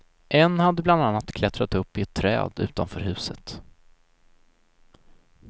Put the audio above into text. En hade bland annat klättrat upp i ett träd utanför huset.